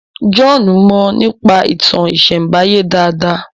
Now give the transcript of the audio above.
John Mo nípa ìtàn isembaye dá dá